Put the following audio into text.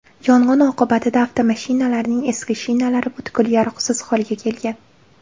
Yong‘in oqibatida avtomashinalarning eski shinalari butkul yaroqsiz holga kelgan.